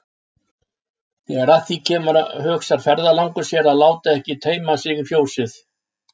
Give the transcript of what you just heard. Þegar að því kemur hugsar ferðalangur sér að láta ekki teyma sig í fjósið.